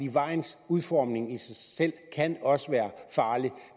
vejens udformning i sig selv kan også være farlig